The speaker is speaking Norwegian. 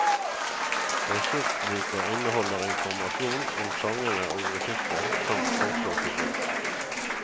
Ressursboka inneholder informasjon om sangene og musikken, samt forslag til bruk.